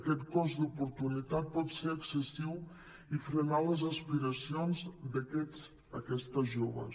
aquest cost d’oportunitat pot ser excessiu i frenar les aspiracions d’aquests i aquestes joves